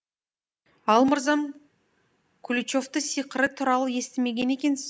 ал мырзам куличовка сиқыры туралы естімеген екенсіз